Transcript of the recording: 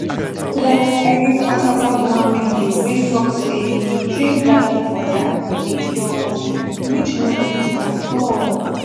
like i dey talk about one video way talk say to drink garlic water dey cure cold which no dey true at all